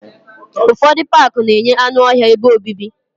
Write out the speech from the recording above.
Ufodu Pááki na-enye anụ ọhịa ebe obibi